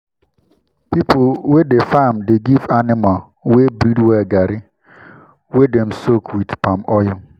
people wey dey farm dey give animal wey breed well garri wey dem soak wit palm oil.